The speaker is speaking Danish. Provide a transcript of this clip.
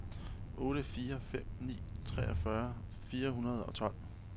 otte fire fem ni treogfyrre fire hundrede og tolv